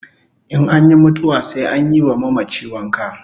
In anyi mutuwa sai anyi wa mamachi wanka